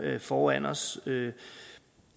foran os jeg